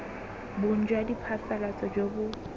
bong jwa diphasalatso jo bo